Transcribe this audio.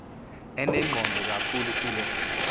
enengqondo kakhulu kuloo